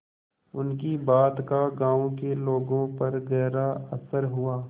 उनकी बात का गांव के लोगों पर गहरा असर हुआ